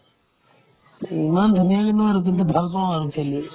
ইমান ধুনীয়াকে নোৱাৰো কিন্তু ভাল পাও আৰু খেলি